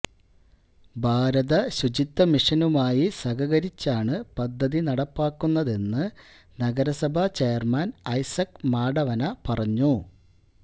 ഭാരത ശുചിത്വമിഷനുമായി സഹകരിച്ചാണ് പദ്ധതി നടപ്പാക്കുന്നതെന്ന് നഗരസഭ ചെയര്മാന് ഐസക് മാടവന പറഞ്ഞു